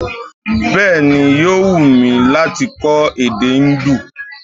Bẹ́ẹ̀ni, yóò wù mí lát kọ́ èdè Indu